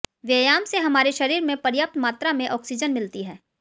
व्यायाम से हमारे शरीर में पर्याप्त मात्रा में ऑक्सीजन मिलती है